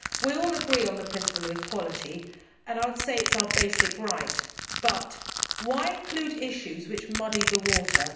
We all agree on the principle of equality and I would say it is our basic right, but why include issues which muddy the water?